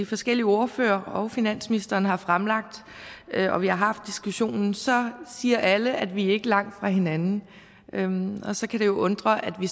forskellige ordførere og finansministeren har fremlagt og vi har haft diskussionen så siger alle at vi ikke er langt fra hinanden hinanden og så kan det jo undre at vi